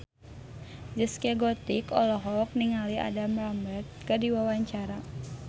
Zaskia Gotik olohok ningali Adam Lambert keur diwawancara